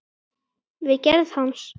við gerð hans.